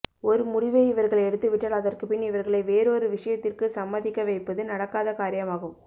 ஒரு முடிவை இவர்கள் எடுத்துவிட்டால் அதற்குபின் இவர்களை வேறொரு விஷயத்திற்கு சம்மதிக்க வைப்பது நடக்காத காரியமாகும்